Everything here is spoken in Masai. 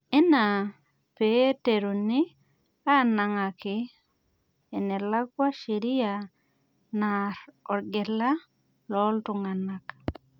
Enaa peiteruni anang'aki enelakwa sheria naar orgela loontung'anak